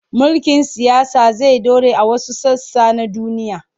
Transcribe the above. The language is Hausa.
Mulkin siyasa zai ɗore a wasu sassa na duniya.